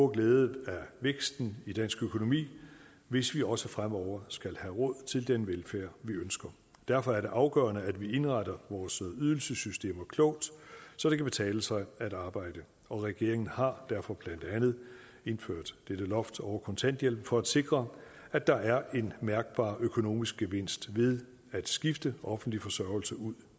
glæde af væksten i dansk økonomi hvis vi også fremover skal have råd til den velfærd vi ønsker derfor er det afgørende at vi indretter vores ydelsessystemer klogt så det kan betale sig at arbejde og regeringen har derfor blandt andet indført dette loft over kontanthjælpen for at sikre at der er en mærkbar økonomisk gevinst ved at skifte offentlig forsørgelse ud